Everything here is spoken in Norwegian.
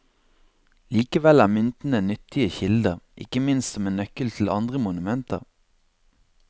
Likevel er myntene nyttige kilder, ikke minst som en nøkkel til andre monumenter.